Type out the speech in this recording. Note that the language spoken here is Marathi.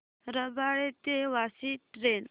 रबाळे ते वाशी ट्रेन